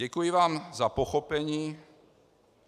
Děkuji vám za pochopení.